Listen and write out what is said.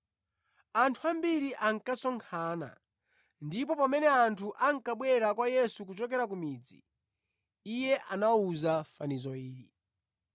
Anthu ambiri ankasonkhana, ndipo pamene anthu ankabwera kwa Yesu kuchokera ku midzi, Iye anawawuza fanizo ili,